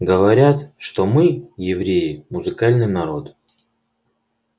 говорят что мы евреи музыкальный народ